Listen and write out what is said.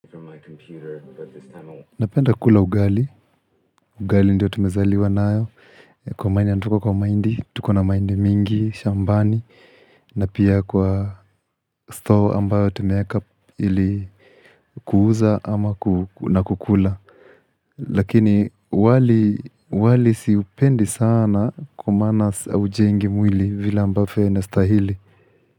Napenda kula ugali, ugali ndio tumezaliwa nayo, tuko kwa mahindi, tuko na mahindi mingi shambani na pia kwa store ambayo tumeaka ili kuuza ama na kukula. Lakini wali siupendi sana kwa maana ujengi mwili vile ambavyo ina stahili.